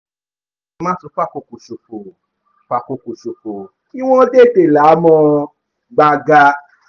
má tún fàkókò ṣòfò fàkókò ṣòfò kí wọ́n tètè là á mọ́ gbaga